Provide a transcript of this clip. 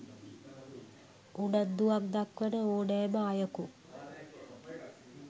උනන්දුවක් දක්වන ඹ්නෑම අයකු